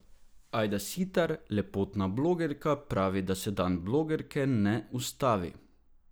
Ajda Sitar, lepotna blogerka, pravi, da se dan blogerke ne ustavi.